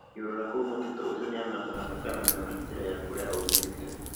Akĩũrũra kũu mũtitũ ucio nĩamakaga ndakanamĩona njĩra ya kũrĩa aumĩte